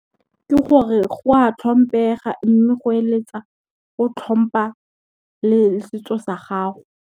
Ke gore go a tlhomphega mme go eletsa, o tlhompha le setso sa gago.